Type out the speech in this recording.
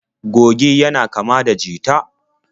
Goge yana kama da jita.